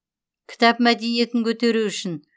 кітап мәдениетін көтеру үшін